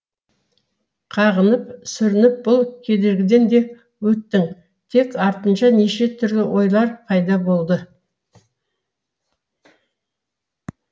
қағынып сүрініп бұл кедергіден де өттің тек артынша неше түрлі ойлар пайда болды